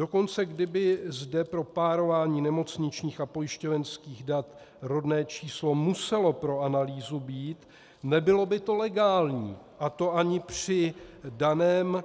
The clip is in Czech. Dokonce kdyby zde pro párování nemocničních a pojišťovenských dat rodné číslo muselo pro analýzu být, nebylo by to legální, a to ani při daném